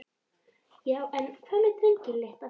Já en. hvað með drenginn litla?